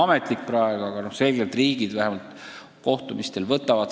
Ma saan aru, et see on nagu üleüldisem soov.